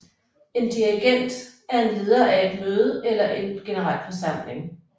En dirigent er en leder af et møde eller en generalforsamling